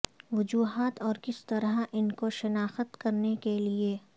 وجوہات اور کس طرح ان کو شناخت کرنے کے لئے